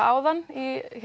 áðan í